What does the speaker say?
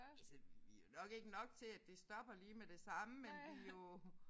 Altså vi jo nok ikke nok til at det stopper lige med det samme men vi jo